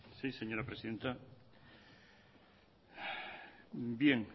sí señora presidenta bien